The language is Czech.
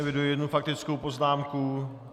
Eviduji jednu faktickou poznámku.